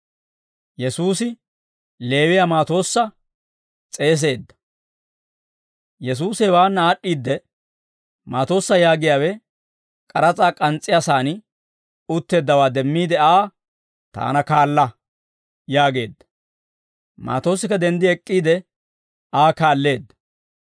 Yesuusi hewaanna aad'd'iidde, Maatoossa yaagiyaawe k'aras'aa k'ans's'iyaa saan utteeddawaa demmiide Aa, «Taana kaala» yaageedda. Maatoossikka denddi ek'k'iide, Aa kaalleedda.